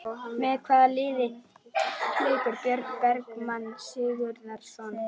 Með hvaða liði leikur Björn Bergmann Sigurðarson?